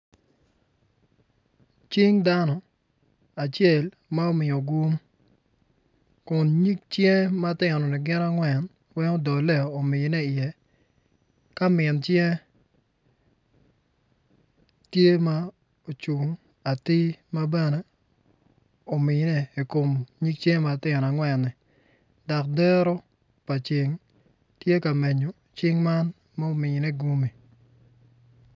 Cing dano acel ma omiyo gun kun nyig cinge matinoni gin angwen weng odole omiye iye ka min cinge tye ma ocun atir ma bene omine i kom nyig cinge matino angwen-ni dok dero pa ceng tye ka menyo cing man ma omine guni.